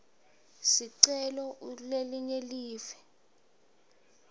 sicelo ukulelinye live